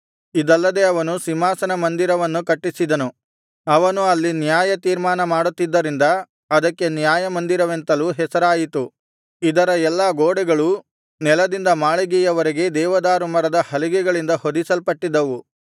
ಇದಲ್ಲದೆ ಅವನು ಸಿಂಹಾಸನ ಮಂದಿರವನ್ನು ಕಟ್ಟಿಸಿದನು ಅವನು ಅಲ್ಲಿ ನ್ಯಾಯತೀರ್ಮಾನ ಮಾಡುತ್ತಿದ್ದರಿಂದ ಅದಕ್ಕೆ ನ್ಯಾಯಮಂದಿರವೆಂತಲೂ ಹೆಸರಾಯಿತು ಇದರ ಎಲ್ಲಾ ಗೋಡೆಗಳೂ ನೆಲದಿಂದ ಮಾಳಿಗೆಯ ವರೆಗೆ ದೇವದಾರು ಮರದ ಹಲಿಗೆಗಳಿಂದ ಹೊದಿಸಲ್ಪಟ್ಟಿದ್ದವು